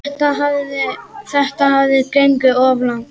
Þetta hafði gengið of langt.